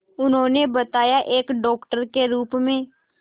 उन्होंने बताया एक डॉक्टर के रूप में